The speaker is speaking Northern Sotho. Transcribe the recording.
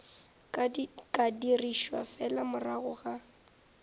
ka dirišwa fela morago ga